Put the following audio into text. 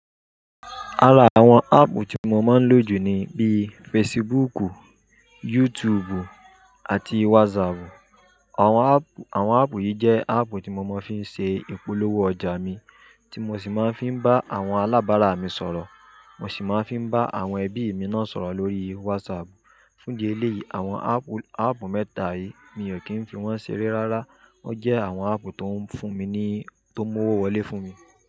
Ara àwọn áàpù tí mo máa ń lò jù ni bí Facebook, YouTube àti WhatsApp. Àwọn áàpù yìí jẹ́ áàpù tí mo máa ń fi ṣe ìpolówó ọjà mi, tí mo sì máa ń fi bá àwọn alábàárà mi sọ̀rọ̀. Mo sì máa ń fi bá àwọn ẹbí mi náà sọ̀rọ̀ lórí WhatsApp. Fún díẹ̀ eleyii, àwọn áàpù mẹ́ta yìí mi ò kí ń fi wọ́n ṣeré rárá. Wọ́n jẹ́ àwọn áàpù tó ń fún mi ni-- tó ń mú owó wọlé fún mi.